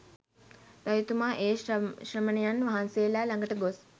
රජතුමා ඒ ශ්‍රමණයන් වහන්සේලා ළඟට ගොස්